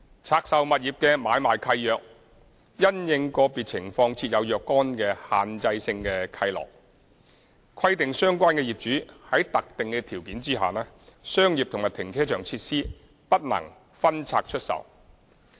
拆售物業的買賣契約，因應個別情況設有若干限制性契諾，規定相關業主在特定條件下，商業和停車場設施不能分拆出售。